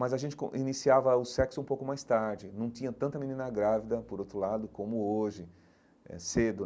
Mas a gente com iniciava o sexo um pouco mais tarde, não tinha tanta menina grávida, por outro lado, como hoje eh, cedo.